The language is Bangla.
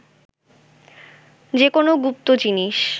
যে কোনো গুপ্ত জিনিস